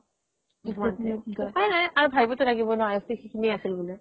উপাই নাই আৰু ভাৱিবতো লাগিব ন আয়ুসতো সিখিনিয়ে আছিল বুলি